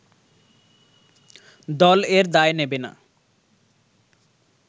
দল এর দায় নেবে না